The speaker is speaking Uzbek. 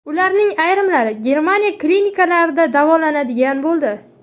Ularning ayrimlari Germaniya klinikalarida davolanadigan bo‘ldi.